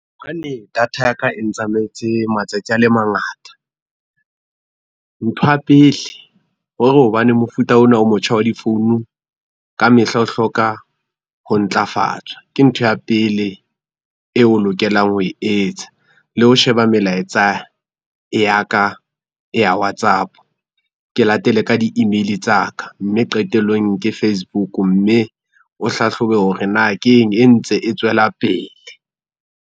Data ya ka e ntsamaetse matsatsi a le mangata. Ntho ya pele, hore hobane mofuta ona o motjha wa difounu ka mehla o hloka ho ntlafatswa, ke ntho ya pele eo o lokelang ho e etsa. Le ho sheba melaetsa ya ka ya Whatsapp, ke latele ka di-email tsa ka mme qetellong ke Facebook mme ho hlahlobe hore na keng e ntse e tswela pele.